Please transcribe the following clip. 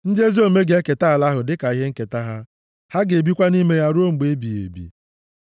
ndị ezi omume ga-eketa ala ahụ dịka ihe nketa ha, ha ga-ebikwa nʼime ya ruo mgbe ebighị ebi.